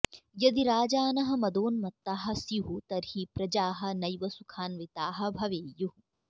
यदि राजानः मदोन्मत्ताः स्युः तर्हि प्रजाः नैव सुखान्विताः भवेयुः